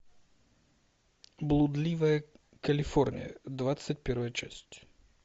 блудливая калифорния двадцать первая часть